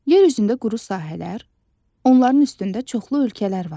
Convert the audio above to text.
Yer üzündə quru sahələr, onların üstündə çoxlu ölkələr var.